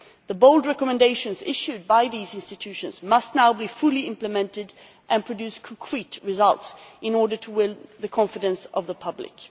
The bold recommendations issued by these institutions must now be fully implemented and produce concrete results, in order to win the confidence of the public.